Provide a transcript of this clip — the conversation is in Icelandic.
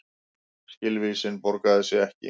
Skilvísin borgaði sig ekki